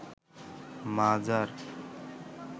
মাজার